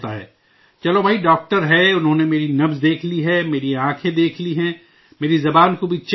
چلو بھائی، ڈاکٹر ہے، انہوں نے میری نبض دیکھ لی ہے، میری آنکھیں دیکھ لی ہیں، میری جیبھ کو بھی چیک کر لیا ہے